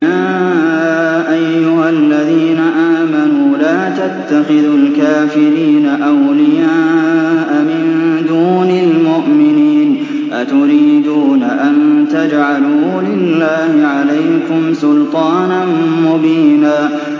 يَا أَيُّهَا الَّذِينَ آمَنُوا لَا تَتَّخِذُوا الْكَافِرِينَ أَوْلِيَاءَ مِن دُونِ الْمُؤْمِنِينَ ۚ أَتُرِيدُونَ أَن تَجْعَلُوا لِلَّهِ عَلَيْكُمْ سُلْطَانًا مُّبِينًا